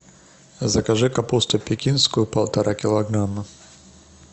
закажи капусту пекинскую полтора килограмма